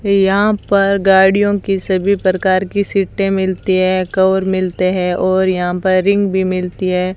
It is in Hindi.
ये यहां पर गाड़ियों की सभी प्रकार की सीटें मिलती हैं कवर मिलते हैं और यहां पर रिंग भी मिलती है।